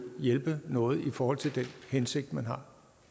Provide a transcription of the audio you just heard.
hjælpe noget i forhold til den hensigt man har